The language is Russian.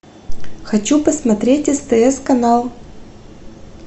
хочу посмотреть стс канал